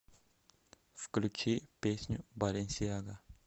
включи песню баленсиага